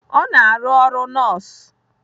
Ọ na-arụ ọrụ nọọsụ.